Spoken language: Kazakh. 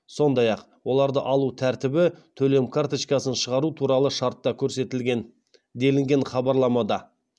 сондай ақ оларды алу тәртібі төлем карточкасын шығару туралы шартта көрсетілген делінген хабарламада